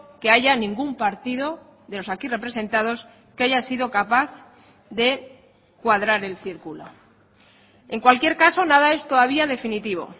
que haya ningún partido de los aquí representados que haya sido capaz de cuadrar el círculo en cualquier caso nada es todavía definitivo